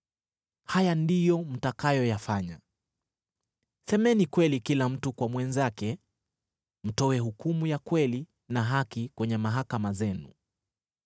Haya ndiyo mtakayoyafanya: Semeni kweli kila mtu kwa mwenzake, na mtoe hukumu ya kweli na haki kwenye mahakama zenu,